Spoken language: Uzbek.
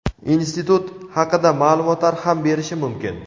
institut haqida ma’lumotlar ham berishi mumkin.